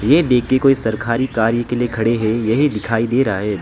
ये देख के कोई सरखारी कार्य के लिए खड़े हैं यही दिखाई दे रहा है।